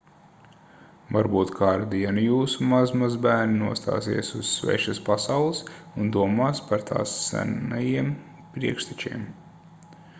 varbūt kādu dienu jūsu mazmazbērni nostāsies uz svešas pasaules un domās par tās senajiem priekštečiem